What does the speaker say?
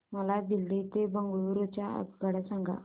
मला दिल्ली ते बंगळूरू च्या आगगाडया सांगा